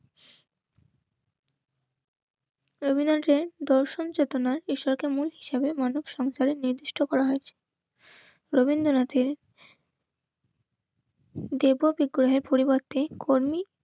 রবীন্দ্রনাথের দশ এক দর্শন চেতনায় মানব সঞ্চারে নির্দিষ্ট করা হয়েছে. রবীন্দ্রনাথের দেব বিগ্রহের পরিবর্তে কর্মী